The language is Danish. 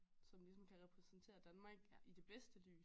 Som ligesom kan repræsentere Danmark i det bedste lys